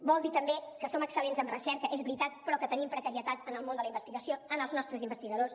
vol dir també que som excellents en recerca és veritat però que tenim precarietat en el món de la investigació en els nostres investigadors